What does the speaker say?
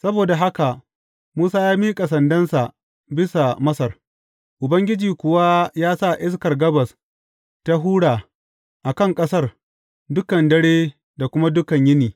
Saboda haka Musa ya miƙa sandansa bisa Masar, Ubangiji kuwa ya sa iskar gabas ta hura a kan ƙasar dukan dare da kuma dukan yini.